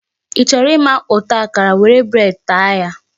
Ị chọrọ ịma ụtọ akara, were bread taa ya.